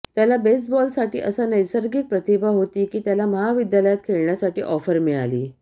त्याला बेसबॉलसाठी असा नैसर्गिक प्रतिभा होती की त्याला महाविद्यालयात खेळण्यासाठी ऑफर मिळाली